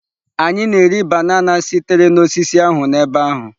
Anyị na-eri banana sitere na osisi ahụ n'ebe ahụ.